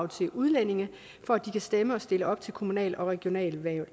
til udlændinge for at de kan stemme og stille op til kommunal og regionalvalg